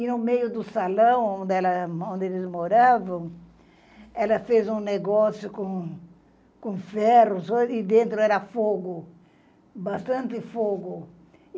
E, no meio do salão onde eles moravam, ela fez um negócio com com ferros e dentro era fogo, bastante fogo.